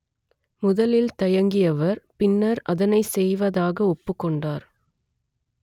முதலில் தயங்கியவர் பின்னர் அதனை செய்வதாக ஒப்புக்கொண்டார்